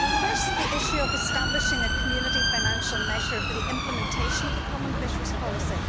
First, the issue of establishing a Community financial measure for the implementation of the common fisheries policy.